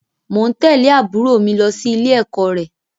Mò ń tẹ̀lé àbúrò mi lọ sí ilé-ẹ̀kọ́ rẹ